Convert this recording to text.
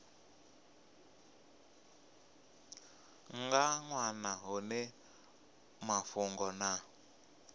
nga wana hone mafhungo na